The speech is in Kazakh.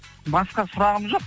басқа сұрағым жоқ